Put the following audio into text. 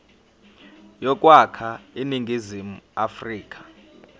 yokwakha iningizimu afrika